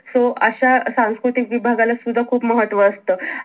so अश्या सांस्कृतिक विभाविभागाला सुद्धा खूप महत्व असत.